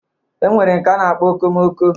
E nwere nke a na-akp okomoko